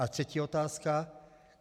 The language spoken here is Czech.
A třetí otázka.